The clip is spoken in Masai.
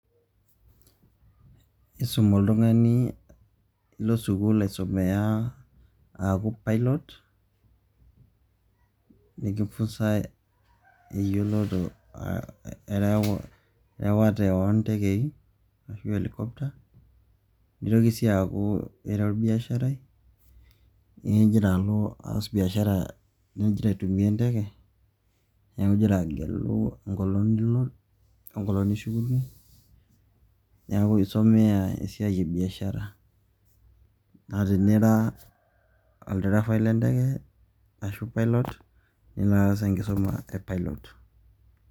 Isum oltung`ani ilo sukuul aisumia aaku pilot nikifunzai eyioloto ee erawate oo ntekei ashu helicopter. Nitoki sii aaku ira olbiasharai migira alo oas biashara nigira aitumia enteke niaku igira agelu enkolong nilo enkolong nishukunyie. Niaku isomea esiai e biashara naa tenira olderefai le nteke ashua pilot nilo aas enkisuma e pilot.